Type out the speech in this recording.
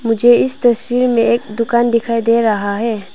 मुझे इस तस्वीर में एक दुकान दिखाई दे रहा है।